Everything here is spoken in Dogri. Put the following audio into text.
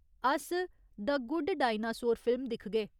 अस द गुड डाक्टरइनासोर फिल्म दिखगे।